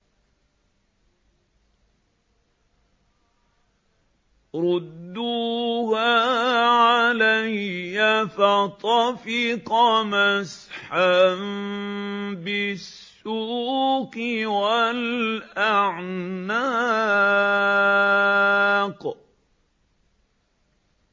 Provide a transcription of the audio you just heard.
رُدُّوهَا عَلَيَّ ۖ فَطَفِقَ مَسْحًا بِالسُّوقِ وَالْأَعْنَاقِ